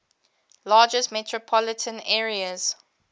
largest metropolitan areas